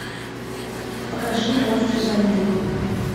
покажи монстры войны